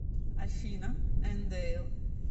афина эндэйл